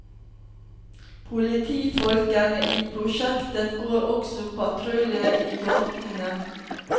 Politifolkene i prosjektet går også patrulje i gatene.